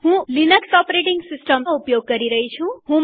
હું Ubuntu Linux OS નો ઉપયોગ કરી રહી છું